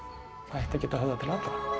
ætti að geta höfðað til